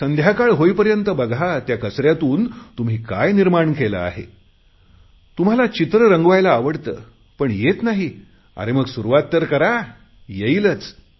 संध्याकाळ होईपर्यंत बघा त्या कचऱ्यातून तुम्ही काय निर्माण केले आहे तुम्हाला चित्र रंगवायला आवडते पण येत नाही अरे मग सुरुवात तर करु येईलच